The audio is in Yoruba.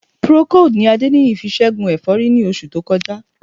Procold ni Adéníyì fi ṣẹ́gun ẹ̀fọ́rí ní oṣù tó kọjá